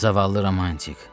Zavallı romantik.